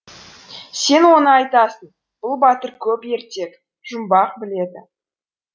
сен оны айтасың бұл батыр көп ертек жұмбақ біледі